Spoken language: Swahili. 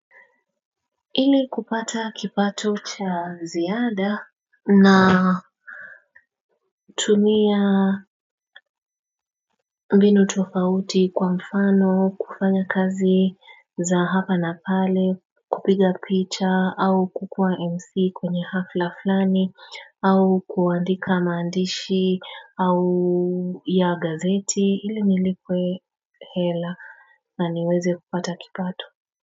Ili kupata kipato cha ziada na tumia mbinu tofauti kwa mfano kufanya kazi za hapa na pale kupiga picha au kukua mc kwenye hafla flani au kuandika maandishi au ya gazeti ili nilipwe hela na niweze kupata kipato.